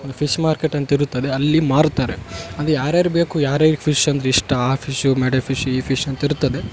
ಒಂದು fish market ಅಂತ ಇರುತ್ತದೆ ಅಲ್ಲಿ ಮಾರುತ್ತಾರೆ ಅಂದ್ರೆ ಯಾರ್ ಯಾರ್ಗ್ ಬೇಕು ಯರಿಗೆ ಫಿಶ್ ಅಂದ್ರೆ ಇಷ್ಟ ಆ ಫಿಶ್ ಈ ಫಿಶ್ ಅಂತ ಇರುತ್ತದೆ --